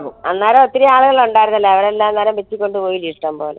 അന്നേരം ഒത്തിരി ആളുകൾ ഉണ്ടായിരുന്നല്ലോ അവരല്ലാം കൂടെ വെട്ടി കൊണ്ടോയി